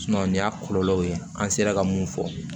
nin y'a kɔlɔlɔw ye an sera ka mun fɔ